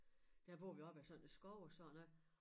Der bor vi op ad en skov og sådan noget